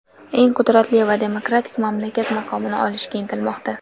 eng qudratli va demokratik mamlakat maqomini olishga intilmoqda.